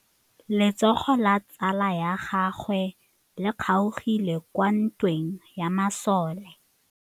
Letsôgô la tsala ya gagwe le kgaogile kwa ntweng ya masole.